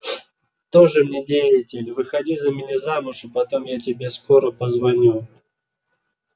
тоже мне деятель выходи за меня замуж а потом я тебе скоро позвоню